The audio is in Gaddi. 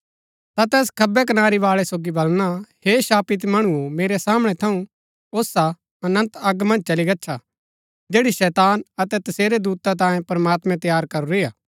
ता तैस खब्बै कनारी बाळै सोगी बलणा हे शापित मणुओ मेरै सामणै थऊँ ओसा अनन्त अग मन्ज चली गच्छा जैड़ी शैतान अतै तसेरै दूता तांयें प्रमात्मैं तैयार करूरी हा